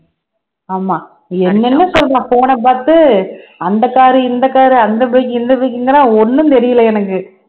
ஆமா என்னென்ன சொல்றான் phone அ பாத்து அந்த car உ இந்த car உ அந்த bike உ இந்த bike குங்கறான் ஒண்ணும் தெரியலே எனக்கு